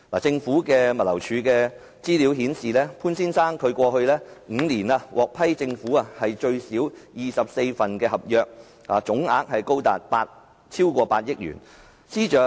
政府物流服務署資料顯示，潘先生過去5年獲政府批出至少24份合約，總額達8億元以上。